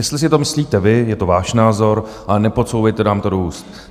Jestli si to myslíte vy, je to váš názor, ale nepodsouvejte nám to do úst.